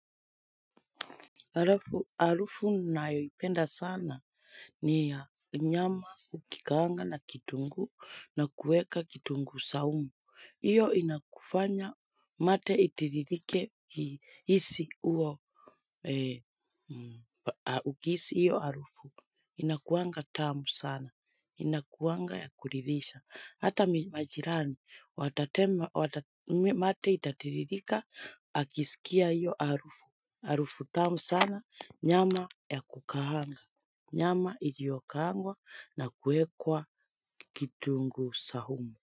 Arufu na yoipenda sana ni ya nyama ukikaanga na kitunguu na kuweka kitunguu saumu. Iyo inakufanya mate itiririke isi uo ukiisi iyo arufu. Inakuanga tamu sana. Inakuanga ya kuridhisha. Hata majirani, mate itatiririka, akisikia iyo arufu. Arufu tamu sana nyama ya kukaahanga, nyama ilio kaangwa na kuekwa kitunguu sahumu.